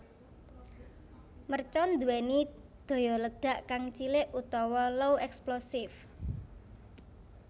Mercon nduwéni daya ledak kang cilik utawa low explosive